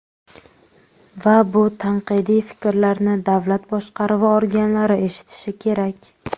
Va bu tanqidiy fikrlarni davlat boshqaruvi organlari eshitishi kerak.